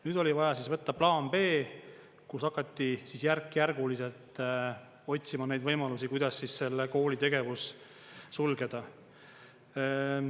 Nüüd oli vaja võtta plaan B, kus hakati järkjärguliselt otsima neid võimalusi, kuidas selle kooli tegevus sulgeda.